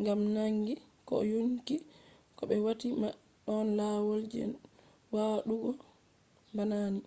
ngam naangi ko yonki ko ɓe waati ma ɗon lawol je waɗugo bana ni